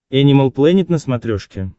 энимал плэнет на смотрешке